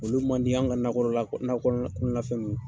Olu man di anw ka nakɔ kɔnɔna fɛn nunnu kɔ.